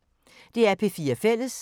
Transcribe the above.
DR P4 Fælles